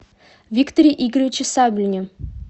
викторе игоревиче саблине